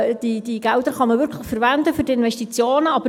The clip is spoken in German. Diese Gelder kann man wirklich für die Investitionen verwenden.